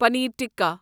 پنیر tikka